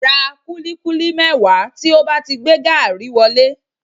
Ra kúlíkúlí mẹ́wàá tí ó bá ti gbé gaàrí wọlé